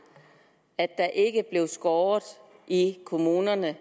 at der ikke blev skåret i kommunernes